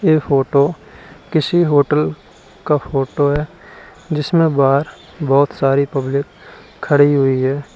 ये फोटो किसी होटल का फोटो है जिसमें बोहोत सारी पब्लिक खड़ी हुई है।